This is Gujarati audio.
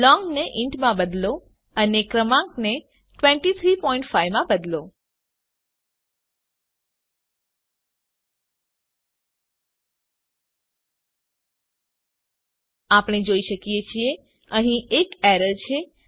લોંગ ને ઇન્ટ માં બદલો અને ક્રમાંકને 235 માં બદલો આપણે જોઈ શકીએ છીએ અહીં એક એરર છે